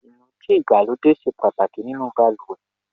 Inúdí ìgbàlódé ṣe pàtàkì nínú baluwe